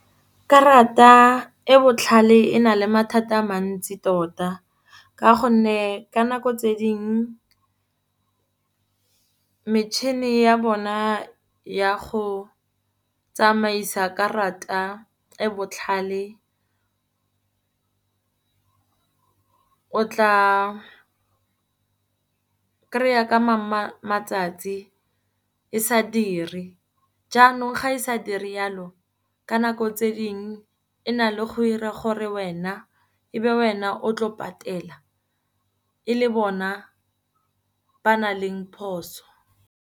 Karata e botlhale e na le mathata a mantsi tota. Ka gonne ka nako tse ding metšhine ya bona ya go tsamaisa karata e botlhale, o tla kry-a ka mangwe matsatsi e sa diri. Jaanong ga e sa dire yalo, ka nako tse dingwe e na le go dira gore wena, e be wena o tlo patela e le bona ba nang le phoso.